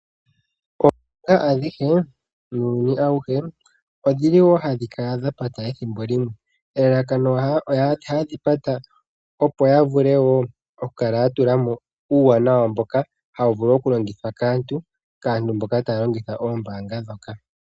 Oombaanga adhihe muuyuni awuhe odhili woo hadhikala dha pata ethimbo limwe. Elalakano opo ya vule woo okukala ya tula mo uuwanawa mboka hawu vulu okulongithwa kaantu mboka haya longitha oombaanga ndhoka.